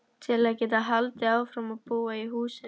Til að geta haldið áfram að búa í húsinu.